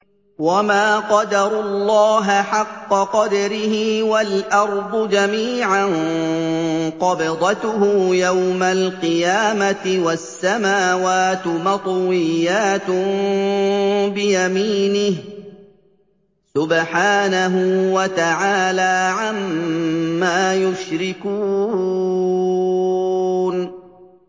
وَمَا قَدَرُوا اللَّهَ حَقَّ قَدْرِهِ وَالْأَرْضُ جَمِيعًا قَبْضَتُهُ يَوْمَ الْقِيَامَةِ وَالسَّمَاوَاتُ مَطْوِيَّاتٌ بِيَمِينِهِ ۚ سُبْحَانَهُ وَتَعَالَىٰ عَمَّا يُشْرِكُونَ